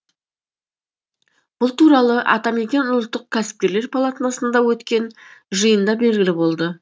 бұл туралы атамекен ұлттық кәсіпкерлер палатасында өткен жиында белгілі болды